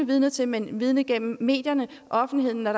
vidner til men vidner til gennem medierne offentligheden når